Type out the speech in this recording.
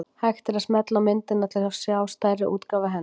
Hægt er að smella á myndina til að sjá stærri útgáfu af henni.